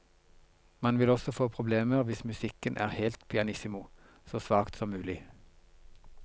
Man vil også få problemer hvis musikken er helt pianissimo, så svakt som mulig.